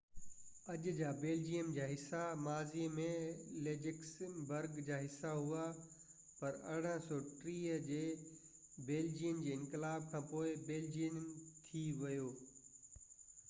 اڄ جا بيلجيم جا حصا ماضي ۾ لڪسمبرگ جا حصا هئا پر 1830 جي بيلجين جي انقلاب کانپوءِ بيلجين ٿي ويو